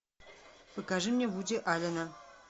покажи мне вуди аллена